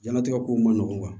Diɲɛnatigɛ kow man nɔgɔn